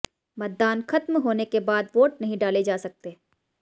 मतदान खत्म होने के बाद वोट नहीं डाले जा सकते